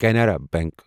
Canara bank